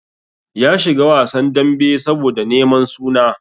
Ya shiga wasan dambe saboda neman suna.